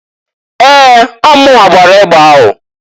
Ee! Ọọ munwa gbara egbe ahụ.